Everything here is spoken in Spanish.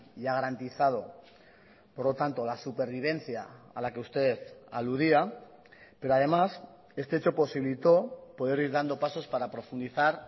y ha garantizado por lo tanto la supervivencia a la que usted aludía pero además este hecho posibilitó poder ir dando pasos para profundizar